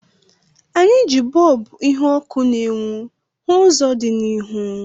Anyị ji bọlbụ ihu ọkụ na-enwu hu ụzọ dị n'ihu